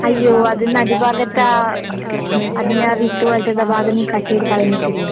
അയ്യോ അത് നടുഭാഗത്താ ഉം അതിന്റെയാ വിത്തുപോലത്തുള്ള ഭാഗം നീ കട്ട് ചെയ്ത് കളഞ്ഞിട്ടില്ലേ?